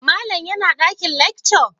Malam yana dakin lecture?